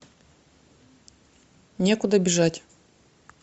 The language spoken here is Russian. некуда бежать